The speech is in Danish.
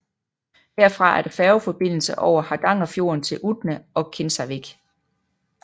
Herfra er der færgeforbindelse over Hardangerfjorden til Utne og Kinsarvik